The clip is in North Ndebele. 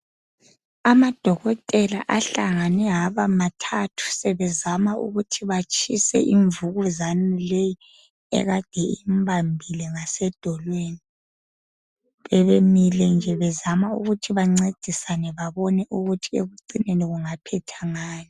Amadokotela ahlangane abamathathu sebezama ukuthi batshise imvukuzane leyi ekade imbambile ngasedolweni. Bebemile nje bezama ukuthi bancedisane babone ukuthi ekucineni kungaphetha ngani.